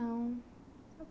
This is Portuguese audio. não...